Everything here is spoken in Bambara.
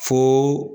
Fo